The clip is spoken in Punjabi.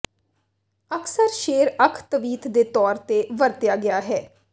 ਅਕਸਰ ਸ਼ੇਰ ਅੱਖ ਤਵੀਤ ਦੇ ਤੌਰ ਤੇ ਵਰਤਿਆ ਗਿਆ ਹੈ